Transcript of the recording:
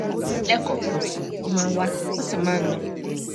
lẹẹkọọkan ó máa ń wá ó sì máa ń lọ